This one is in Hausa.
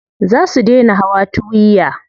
Za su dai na hawa tuwiya.